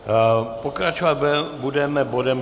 Pokračovat budeme bodem